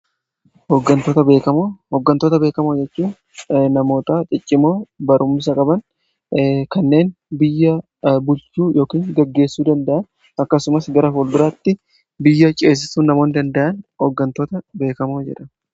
oggantoota beekamoo jechuun namoota ciccimoo barummsa qaban kanneen biyya bulchuu yookin gaggeessuu danda'an akkasumas gara fuulduraatti biyya ceessisuu namooni danda'an oggantoota beekamoo jedhamu.